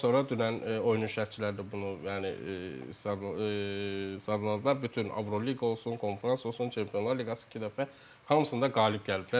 Ondan sonra dünən oyunun şərhçiləri də bunu yəni sadaladılar, bütün Avroliqa olsun, konfrans olsun, Çempionlar liqası iki dəfə, hamısında qalib gəliblər.